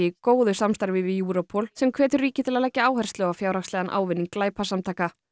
í góðu samstarfi við Europol sem hvetur ríki til að leggja áherslu á fjárhagslegan ávinning glæpasamtaka